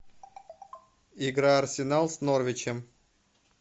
игра арсенал с норвичем